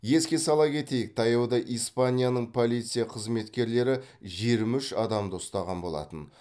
еске сала кетейік таяуда испанияның полиция қызметкерлері жиырма үш адамды ұстаған болатын